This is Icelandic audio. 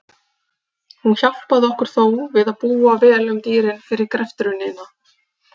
Hún hjálpaði okkur þó við að búa vel um dýrin fyrir greftrunina.